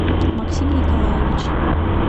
максим николаевич